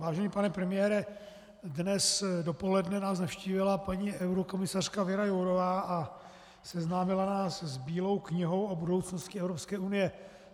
Vážený pane premiére, dnes dopoledne nás navštívila paní eurokomisařka Věra Jourová a seznámila nás s Bílou knihou o budoucnosti EU.